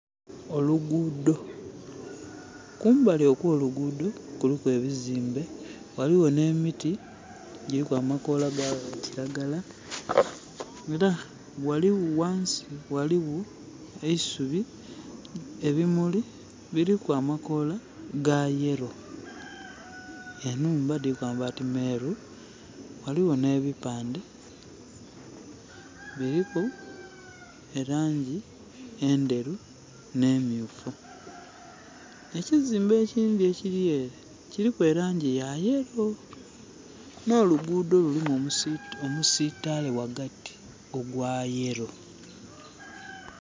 Olugudho. Kumbali okw'olugudho kuliku ebizimbe waliwo ne miti giriku amakoola ga kiragala era wansi waliwo eisubi, ebimuli biriku amakoola ga yellow. Enhumba diriku amabaati meeru, waliwo ne bipande. Biriku e langi endheru ne myufu. Ekizimbe ekyindi ekiri ere kiriku e langi ya yellow. No lugudho lulimu omisitale wagati ogwa yellow.